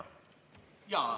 Tänan!